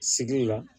Sigi la